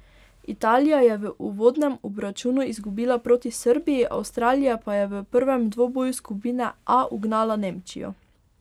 Italija je v uvodnem obračunu izgubila proti Srbiji, Avstralija pa je v prvem dvoboju skupine A ugnala Nemčijo.